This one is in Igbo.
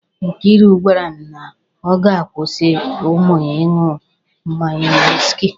Nkairu gwara m na ọ ga-akwụsị ụmụ ya ị ṅụ mmanya wiski.